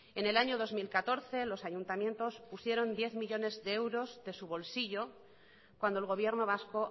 en el año dos mil catorce los ayuntamientos pusieron diez millónes de euros de su bolsillo cuando el gobierno vasco